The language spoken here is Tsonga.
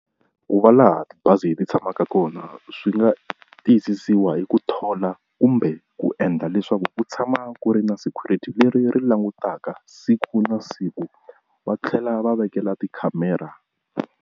Ku va laha tibazi ti tshamaka kona swi nga tiyisisiwa hi ku thola kumbe ku endla leswaku u tshama ku ri na security leri ri langutaka siku na siku va tlhela va vekela tikhamera.